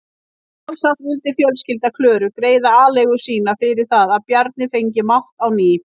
Sjálfsagt vildi fjölskylda Klöru greiða aleigu sína fyrir það að Bjarni fengi mátt á ný.